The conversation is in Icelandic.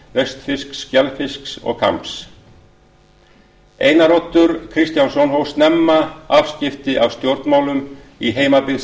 hjálms vestfirsks skelfisks og kambs einar oddur kristjánsson hóf snemma afskipti af stjórnmálum í heimabyggð